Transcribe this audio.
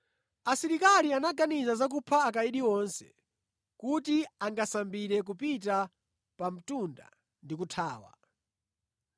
Asilikali anaganiza za kupha amʼndende onse, kuti angasambire kupita pa mtunda ndi kuthawa.